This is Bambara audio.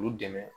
K'u dɛmɛ